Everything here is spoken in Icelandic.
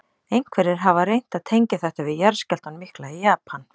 Einhverjir hafa reynt að tengja þetta við jarðskjálftann mikla í Japan.